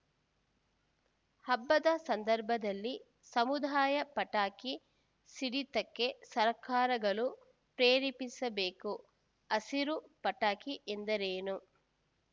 ಹಬ್ಬದ ಸಂದರ್ಭದಲ್ಲಿ ಸಮುದಾಯ ಪಟಾಕಿ ಸಿಡಿತಕ್ಕೆ ಸರ್ಕಾರಗಳು ಪ್ರೇರೇಪಿಸಬೇಕು ಹಸಿರು ಪಟಾಕಿ ಎಂದರೇನು